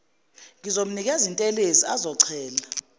ngizomnikeza intelezi azochela